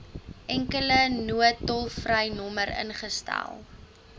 enkele noodtolvrynommer ingestel